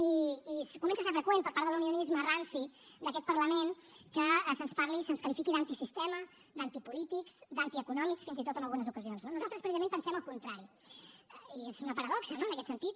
i comença a ser freqüent per part de l’unionisme ranci d’aquest parlament que se’ns qualifiqui d’antisistema d’antipolítics d’antieconòmics fins i tot en algunes ocasions no nosaltres precisament pensem el contrari i és una paradoxa en aquest sentit